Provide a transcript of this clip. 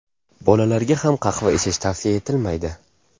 Bolalarga ham qahva ichish tavsiya etilmaydi.